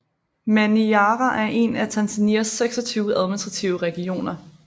Manyara er en af Tanzanias 26 administrative regioner